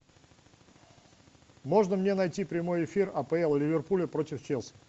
можно мне найти прямой эфир апл ливерпуля против челси